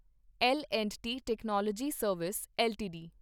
ਲ and T technology service LTD